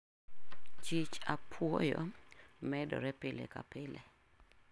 Chich apwoyo medore pile ka pile.